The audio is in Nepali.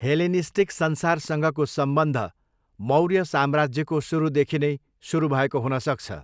हेलेनिस्टिक संसारसँगको सम्बन्ध मौर्य साम्राज्यको सुरुदेखि नै सुरु भएको हुन सक्छ।